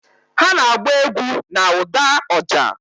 Ha na-agba egwu na ụda oja